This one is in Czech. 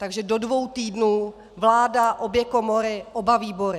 Takže do dvou týdnů vláda, obě komory, oba výbory.